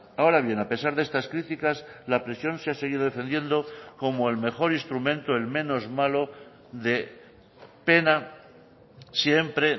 ahora bien a pesar de estas críticas la prisión se ha seguido defendiendo como el mejor instrumento el menos malo de pena siempre